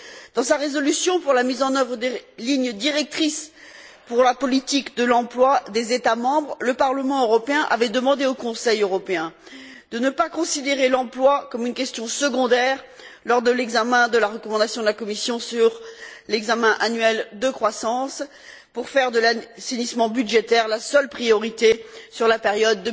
Dans sa résolution pour la mise en œuvre des lignes directrices pour la politique de l'emploi des États membres, le Parlement européen avait demandé au Conseil européen de ne pas considérer l'emploi comme une question secondaire lors de l'examen de la recommandation de la Commission sur l'examen annuel de croissance pour faire de l'assainissement budgétaire la seule priorité sur la période